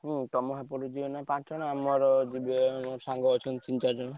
ହୁଁ ତମ ସେପଟୁ ଯିବେ ପାଞ୍ଚ ଜଣ ଆମ ଏପଟୁ ଅଛନ୍ତି ଯିବେ ତିନ ଚାରି ଜଣ।